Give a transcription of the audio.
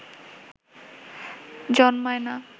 জন্মায় না